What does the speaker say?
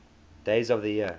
days of the year